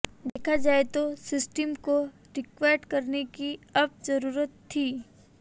देखा जाए तो सिस्टम को रिएक्ट करने की अब ज़रूरत थी